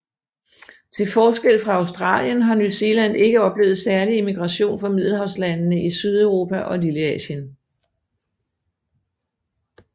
Til forskel fra Australien har New Zealand ikke oplevet særlig immigration fra middelhavslandene i Sydeuropa og Lilleasien